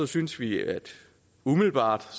synes vi umiddelbart